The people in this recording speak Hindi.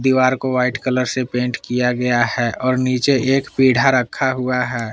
दीवार को वाइट कलर से पेंट किया गया है और नीचे एक पीढ़ा रखा हुआ है।